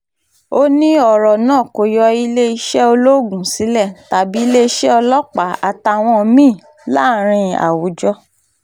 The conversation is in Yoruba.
ó ní ọ̀rọ̀ náà kó yọ iléeṣẹ́ ológun sílẹ̀ tàbí iléeṣẹ́ ọlọ́pàá àtàwọn mí-ín láàrin àwùjọ